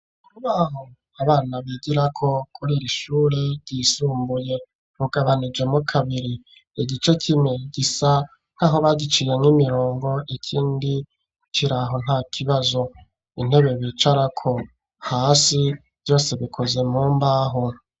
Mubaho abana bigirako kuriri shure ryisumbuye ugabanije mu kabiri igice kimwe gisa nk'aho bagiciye nk'imirongo ikindi kiraho nta kibazo intebe bicara ko hasi vyose bikoze mumbaho.